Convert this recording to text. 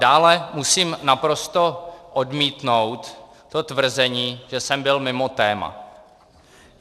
Dále musím naprosto odmítnout to tvrzení, že jsem byl mimo téma.